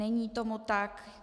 Není tomu tak.